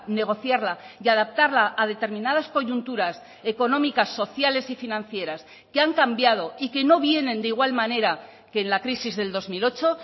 negociarla y adaptarla a determinadas coyunturas económicas sociales y financieras que han cambiado y que no vienen de igual manera que en la crisis del dos mil ocho